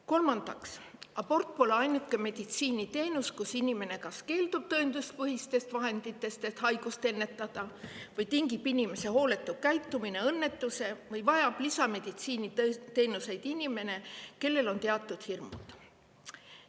Kolmandaks, abort pole ainuke meditsiiniteenus, mille korral inimene kas keeldub tõenduspõhistest vahenditest, et haigust ennetada, inimese hooletu käitumine tingib õnnetuse või lisameditsiiniteenuseid vajab inimene, kellel on teatud hirmud.